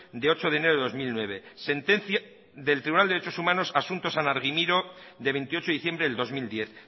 de ocho de enero de dos mil nueve sentencia del tribunal de derechos humanos asunto san argimiro de veintiocho de diciembre del dos mil diez